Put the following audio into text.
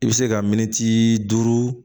I bɛ se ka minti duuru